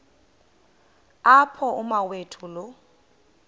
apho umawethu lo